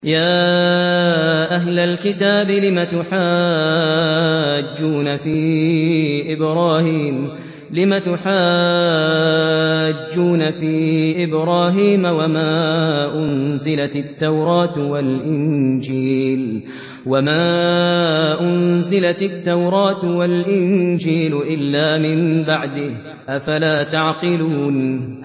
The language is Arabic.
يَا أَهْلَ الْكِتَابِ لِمَ تُحَاجُّونَ فِي إِبْرَاهِيمَ وَمَا أُنزِلَتِ التَّوْرَاةُ وَالْإِنجِيلُ إِلَّا مِن بَعْدِهِ ۚ أَفَلَا تَعْقِلُونَ